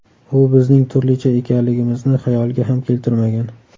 U bizning turlicha ekanligimizni xayoliga ham keltirmagan.